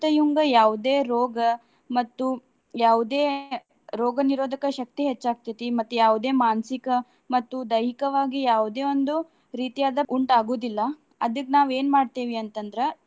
ಮತ್ತ ಇವಂಗ ಯಾವುದೇ ರೋಗ ಮತ್ತು ಯಾವುದೇ ರೋಗನಿರೋಧಕ ಶಕ್ತಿ ಹೆಚ್ಚಾಗ್ತತೈತಿ. ಮತ್ತ್ ಯಾವುದೇ ಮಾನಸಿಕ ಮತ್ತು ದೈಹಿಕವಾಗಿ ಯಾವುದೇ ಒಂದು ರೀತಿಯಾದ ಉಂಟಾಗುದಿಲ್ಲಾ. ಅದಕ್ಕ ನಾವ್ ಏನ್ ಮಾಡ್ತೇವಿ ಅಂತ ಅಂದ್ರ.